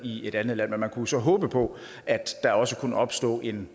i et andet land men man kunne så håbe på at der også kunne opstå en